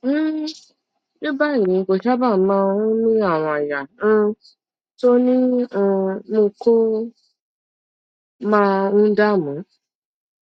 um ní báyìí kò sábà máa ń ní àrùn àyà um tó ní um mú kó máa ń dààmú